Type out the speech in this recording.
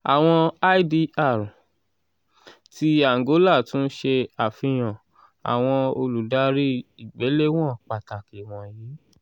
"awọn idr 'bb-' ti angola tun ṣe afihan awọn oludari igbelewọn pataki wọnyi: